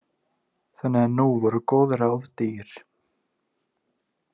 Þannig að nú voru góð ráð dýr.